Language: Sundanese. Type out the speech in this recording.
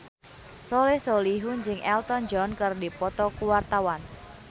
Soleh Solihun jeung Elton John keur dipoto ku wartawan